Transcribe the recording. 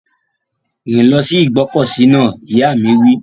Rìn lọ sí ìgbọ́kọ̀sí náà! Ìyá mi wí.